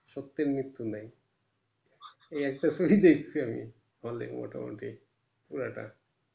সত্যের মৃত্যু নাই এই একটা film দেখছি hall এ মোটা মোটি পুরোটা